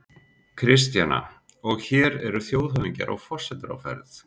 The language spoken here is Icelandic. Kristjana: Og hér eru þjóðhöfðingjar og forsetar á ferð?